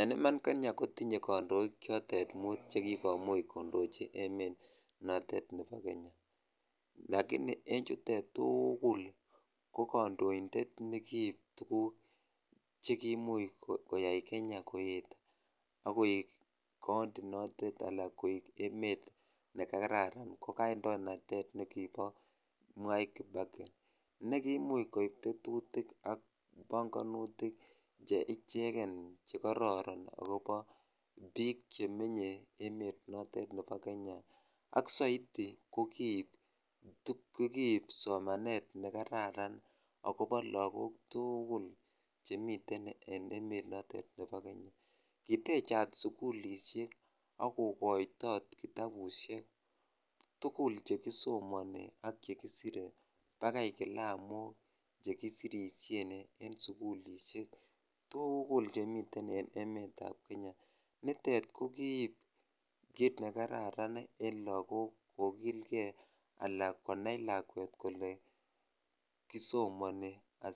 En iman kenya kotinye kondoik chotet muut chekikomuch kondochitab kenya lakini en chutet tukul ko kondointet nekiiob tukuk chekimuch koyai kenya koet ak koik county notet alaa koik emet nekararan ko kandoinatet nekibo Mwai Kibaki nekimuch koib tetutik ak bongonutik che icheken chekororon akobo biik chemenye emet notet nebo kenya alk soiti ko kiib somanet nekararan akobo lokok tukul chemiten ken emet notet nebo Kenya, kitechat sukulishek ak kokoitot kitabushek tukul chekisomoni ak chekisire bakai kilamok chekisirishen tukul chemiten en emetab Kenya, nitet ko kiib kiit nekararan en lokok kokilke anan konai lakwet kolee kisomoni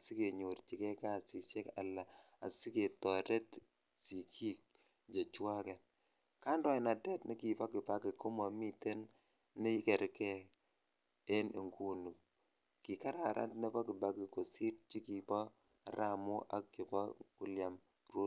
sikenyorchike kasisiek alaa asiketoret sikiik chechwaket, kandoinatet nekibo kibaki ko momiten nekerke en inguni, kikararan nekibo Kibaki kosir chekibo arap Moi ak chebo William Rutto.